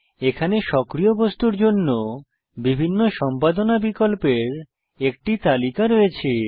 এখানে সক্রিয় বস্তুর জন্য বিভিন্ন সম্পাদনা বিকল্পের একটি তালিকা রয়েছে